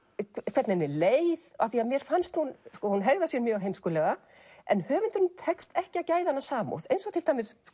hvernig henni leið af því mér fannst hún hún hegðar sér mjög heimskulega en höfundinum tekst ekki að gæða hana samúð eins og til dæmis